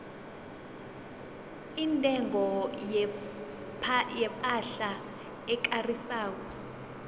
intengo yepahla ekarisako